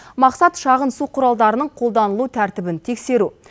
мақсат шағын су құралдарының қолданылу тәртібін тексеру